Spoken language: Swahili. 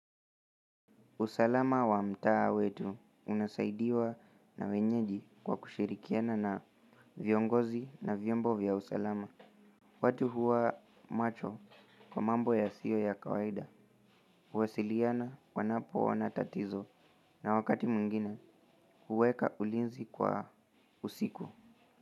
Usalama wa mtaa wetu unasaidiwa na wenyeji kwa kushirikiana na viongozi na vyombo vya usalama. Watu huwa macho kwa mambo yasio ya kawaida. Huwasiliana wanapo ona tatizo na wakati mwingine huweka ulinzi kwa usiku.